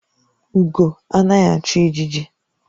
Ugo anaghi achu ijiji